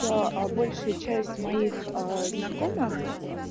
то а большая часть моих знакомых